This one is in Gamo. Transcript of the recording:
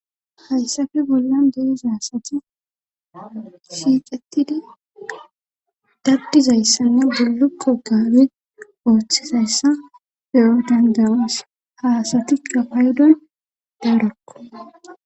Hayssafe bollan deizaasati siiqetidi daddizayssanne bullukko gaabe ooththizayssa peyo dandawas haasatikka paydon daarakko.